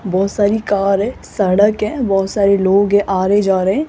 बहुत सारी कार है सड़क है बहुत सारे लोग हैं आ रहे जा रहे हैं।